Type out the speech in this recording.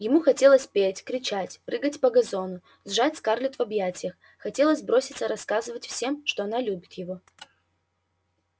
ему хотелось петь кричать прыгать по газону сжать скарлетт в объятиях хотелось броситься рассказывать всем что она любит его